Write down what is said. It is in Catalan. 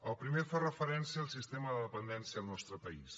el primer fa referència al sistema de dependència al nostre país